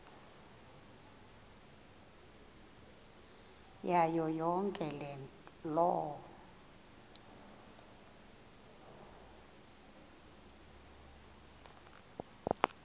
kuyo yonke loo